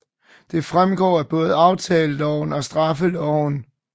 Det fremgår både af aftaleloven og straffeloven